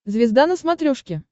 звезда на смотрешке